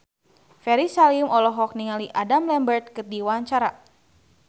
Ferry Salim olohok ningali Adam Lambert keur diwawancara